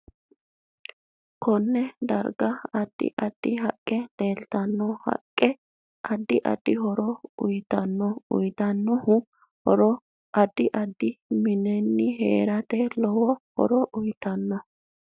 Konne darga addi addi haqqe leeltanno haqqe addi addi horo uyiitanno uyiitano horo addi addi mineine heerate lowo horo uyiitanno